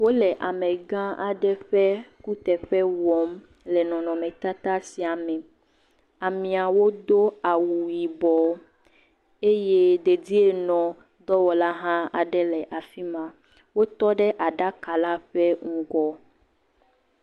Wole amegã aɖe ƒe kuteƒe wɔm le nɔnɔmetata sia me, ameawo do awu yibɔ eye dedienɔdɔwɔlw aɖe hã le afi ma, wotɔ ɖe aɖaka la ƒe ŋgɔ.